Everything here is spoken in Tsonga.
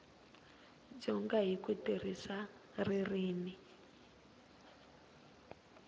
dyondza hi ku tirhisa ririmi